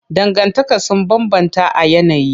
Dangantaka sun bambanta a yanayi.